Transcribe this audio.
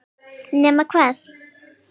Nema hvað!?!